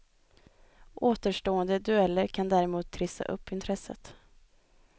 Återstående dueller kan däremot trissa upp intresset.